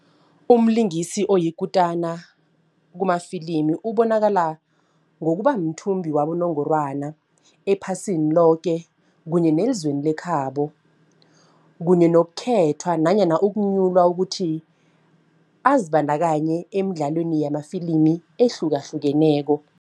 Umlingisi oyikutana kumafilimi ubonakala ngokuba mthumbi wabonongorwana ephasini loke kunye nezweni lekhabo kunye nokukhethwa nanyana ukunyulwa ukuthi azibandakanye emdlalweni yamafilimi ehlukahlukeneko.